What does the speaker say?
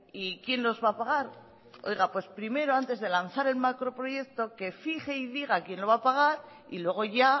y quién los va a pagar oiga pues primero antes de lanzar el macroproyecto que fije y diga quién lo va a pagar y luego ya